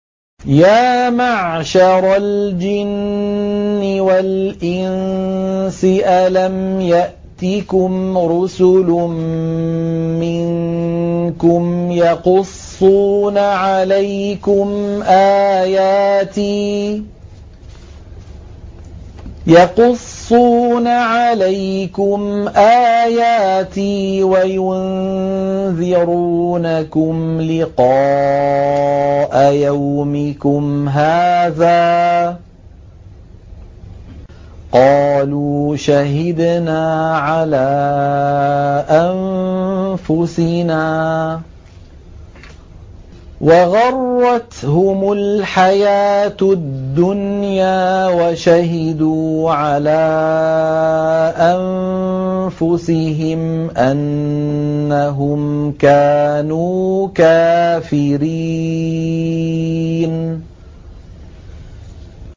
يَا مَعْشَرَ الْجِنِّ وَالْإِنسِ أَلَمْ يَأْتِكُمْ رُسُلٌ مِّنكُمْ يَقُصُّونَ عَلَيْكُمْ آيَاتِي وَيُنذِرُونَكُمْ لِقَاءَ يَوْمِكُمْ هَٰذَا ۚ قَالُوا شَهِدْنَا عَلَىٰ أَنفُسِنَا ۖ وَغَرَّتْهُمُ الْحَيَاةُ الدُّنْيَا وَشَهِدُوا عَلَىٰ أَنفُسِهِمْ أَنَّهُمْ كَانُوا كَافِرِينَ